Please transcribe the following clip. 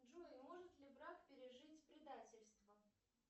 джой может ли брак пережить предательство